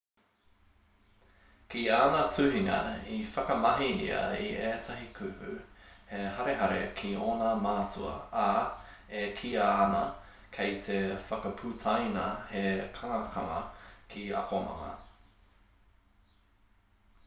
ki āna tuhinga i whakamahi ia i ētahi kupu he harehare ki ōna mātua ā e kīia ana kei te whakaputaina he kangakanga ki te akomanga